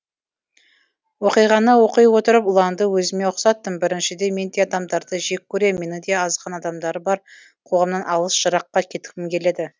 оқиғаны оқи отырып ұланды өзіме ұқсаттым біріншіден мен де адамдарды жек көрем менің де азған адамдары бар қоғамнан алыс жыраққа кеткім келеді